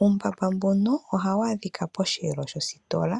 Uumbamba mboka ohawu adhika dhosheelo shositola.